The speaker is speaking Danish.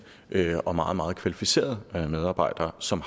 og meget meget kvalificerede medarbejdere som